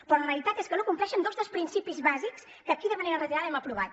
però la realitat és que no compleixen dos dels principis bàsics que aquí de manera reiterada hem aprovat